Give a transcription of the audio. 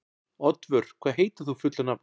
Oddvör, hvað heitir þú fullu nafni?